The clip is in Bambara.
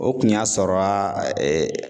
O kun y'a sɔrɔ a